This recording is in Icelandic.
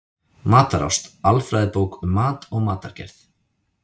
Matarást: Alfræðibók um mat og matargerð.